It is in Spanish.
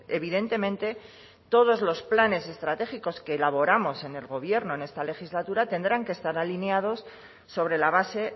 evidentemente todos los planes estratégicos que elaboramos en el gobierno en esta legislatura tendrán que estar alineados sobre la base